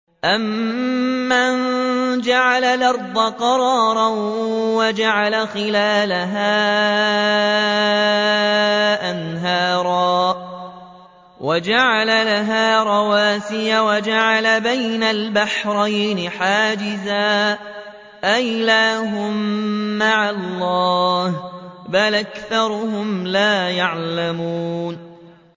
أَمَّن جَعَلَ الْأَرْضَ قَرَارًا وَجَعَلَ خِلَالَهَا أَنْهَارًا وَجَعَلَ لَهَا رَوَاسِيَ وَجَعَلَ بَيْنَ الْبَحْرَيْنِ حَاجِزًا ۗ أَإِلَٰهٌ مَّعَ اللَّهِ ۚ بَلْ أَكْثَرُهُمْ لَا يَعْلَمُونَ